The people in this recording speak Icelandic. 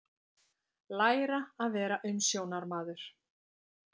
Læra að vera umsjónarmaður